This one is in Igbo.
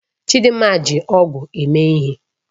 Chidinma ji ọ̀gu eme ihe.